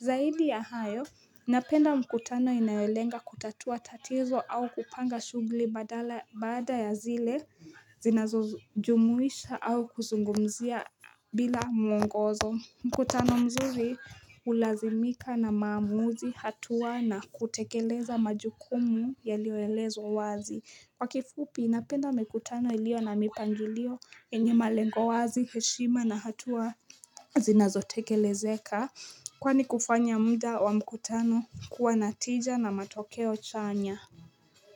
Zaidi ya hayo Napenda mkutano inayolenga kutatua tatizo au kupanga shughuli badala baada ya zile zinazojumuisha au kuzungumzia bila mwngozo mkutano mzuri hulazimika na maamuzi hatua na kutekeleza majukumu yaliyoelezwa wazi kwa kifupi napenda mikutano iliyo na mipangilio enye malengo wazi heshima na hatua zinazo tekelezeka Kwani kufanya muda wa mkutano kuwa na tija na matokeo chanya.